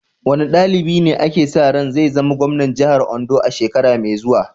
Wane dalibi ne ake sa ran zai zama gwamnan jihar Ondo a shekara mai zuwa?